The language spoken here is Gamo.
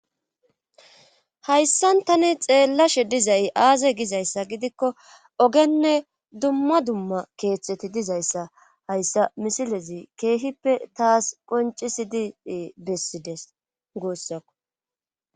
Hayssan tani xeellashe dizayy aaze gizayssa gidikko ogenne dumma dumma keeththeti dizayssa hayssa misilezi keehippe taas qoncisidii bessides goussakko.